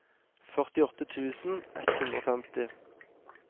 førtiåtte tusen ett hundre og femti